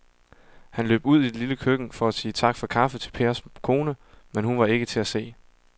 Han løb ud i det lille køkken for at sige tak for kaffe til Pers kone, men hun var ikke til at se.